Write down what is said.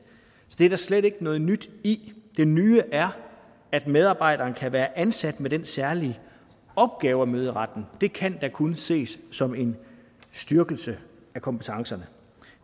det er der slet ikke noget nyt i det nye er at medarbejderen kan være ansat med den særlige opgave at møde i retten det kan da kun ses som en styrkelse af kompetencerne